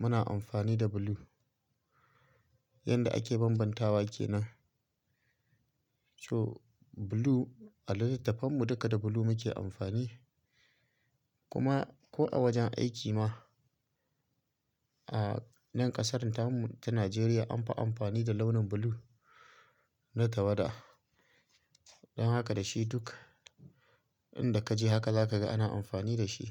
muna amfani da blue yanda ake bambantawa kenan. So blue a litattafan mu duka da blue muke amfani kuma ko a wajen aiki ma a nan ƙasar tamu ta Najeriya anfi amfani da launin blue na tawada. Don haka da shi duk inda ka je haka zaka ga ana amfani da shi.